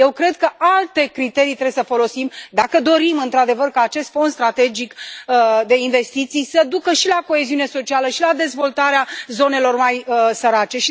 Eu cred că alte criterii trebuie să folosim, dacă dorim într adevăr ca acest fond strategic de investiții să ducă și la coeziune socială și la dezvoltarea zonelor mai sărace.